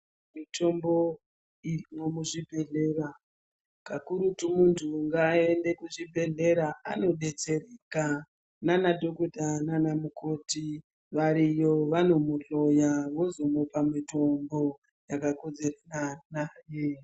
Mitombo iri muzvibhehleya pakurutu muntu ngaende muzvibhehlera anodetsereka nana dhokodheya nana mukoti variyo vanokuhloya vozokupa mitombo yakakodzerana naye.